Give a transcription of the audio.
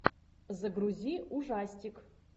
загрузи ужастик